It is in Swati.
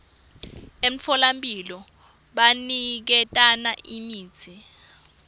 emtfolamphilo baniketana imitsi